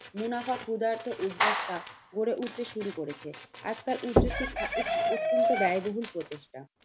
মুনাফা ক্ষুধার্ত উদ্যোক্তা গড়ে উঠতে শুরু করেছে। আজকার উচ্চশিক্ষা একটি অত্যন্ত ব্যয়বহুল প্রতিষ্ঠান।